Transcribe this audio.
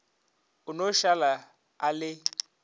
a no šala a le